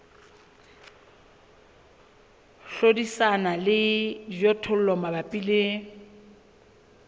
hlodisana le dijothollo mabapi le